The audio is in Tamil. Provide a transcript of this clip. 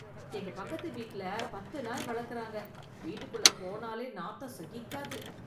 எங்க பக்கத்து வீட்ல பத்து நாய் வளக்கிறாங்க, வீட்டுக்குள்ள போனாலே நாத்தம் சகிக்காது.